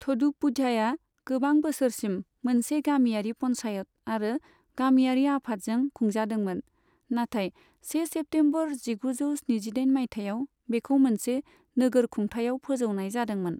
थ'डुपुझाया गोबां बोसोरसिम मोनसे गामियारि पन्चायत आरो गामियारि आफादजों खुंजादोंमोन, नाथाय से सेप्तेमबर जिगुजौ स्निजिदाइन मायथायाव बेखौ मोनसे नोगोर खुंथायाव फोजौनाय जादोंमोन।